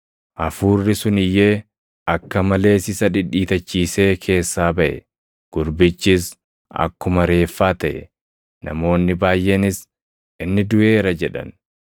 Hafuurri sun iyyee, akka malees isa dhidhiitachiisee keessaa baʼe. Gurbichis akkuma reeffaa taʼe; namoonni baayʼeenis, “Inni duʼeera” jedhan.